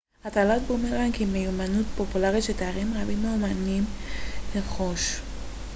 הטלת בומרנג היא מיומנות פופולרית שתיירים רבים מעוניינים לרכוש